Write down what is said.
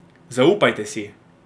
Zaupajte si!